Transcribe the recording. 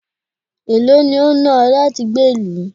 èló ni o náà ọ láti gbé ìlú?